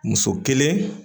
Muso kelen